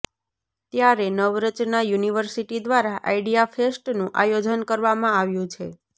ત્યારે નવરચના યુનિવર્સિટી દ્વારા આઇડિયા ફેસ્ટનું આયોજન કરવામાં આવ્યું છે